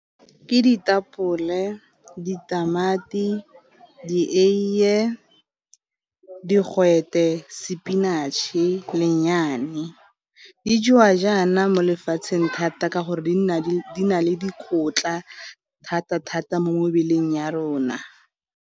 Ke ditapole, ditamati, dieiye, digwete, spinach-e, di jewa jaana mo lefatsheng thata ka gore di nna di na le dikotla thata-thata mo mebeleng ya rona.